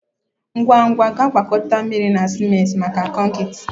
Ngwa ngwa gaa gwakọta mmiri na ciment maka konkịta